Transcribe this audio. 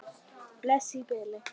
Bless í bili.